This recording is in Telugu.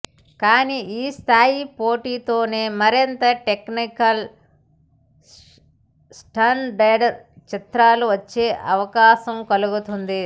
కానీ ఈ స్థాయి పోటీతోనే మరింత టెక్నికల్ స్టాండర్డ్ చిత్రాలు వచ్చే అవకాశం కలుగుతుంది